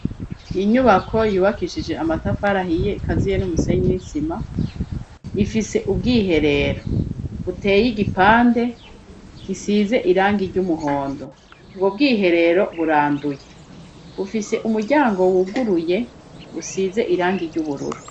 Inyubako yubakishije amatafari ahiye ikaziye n'umusenyi w'isima ifise ubwiherero buteye igipande gisize irangi ry'umuhondo. Ubwo bwiherero buranduye. Bufise umuryango wuguruye busize irangi ry'ubururu.